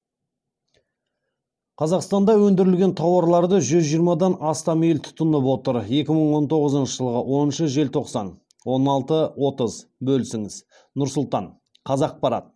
қазақстанда өндірілген тауарларды жүз жиырмадан астам ел тұтынып отыр екі мың он тоғызыншы жылғы оныншы желтоқсан он алты отыз бөлісіңіз нұр сұлтан қазақпарат